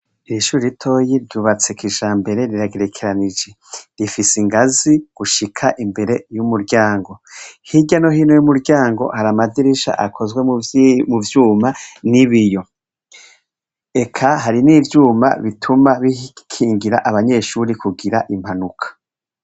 Ihuri ritoyi ryubatse kijambere riragerekeranije rifise ingazi gushika imbere y'umuryango hirya no hino y'umuryango hari amadirisha akozwe mu vyuma n'ibiyo eka hari n'ivyuma bituma bikingira abanyeshuri kugira impanuka.